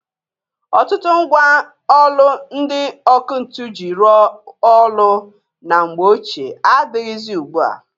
Ọtụtụ mgwa ọlụ ndị ọkụ ntu ji rụọ ọlụ na mgbe ochịe adịghịzị ugbua.